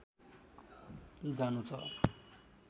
जानु छ